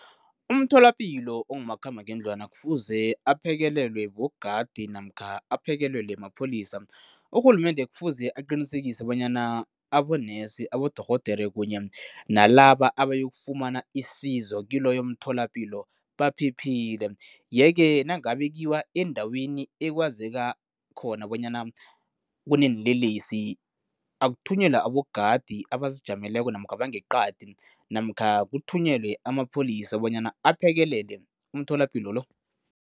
Umtholapilo ongumakhambangendlwana kufuze aphekelelwe bogadi namkha aphekelelwe mapholisa. Urhulumende kufuze aqinisekise bonyana abonesi, abodorhodere kunye nalaba abayokufumana isizo kiloyo mtholapilo baphephile yeke nangabe kuyiwa endaweni ekwazeka khona bonyana kuneenlelesi, akuthunyelwa abogadi abazijameleko namkha bangeqadi namkha kuthunyelwa amapholisa bonyana aphekelele umtholapilo lo.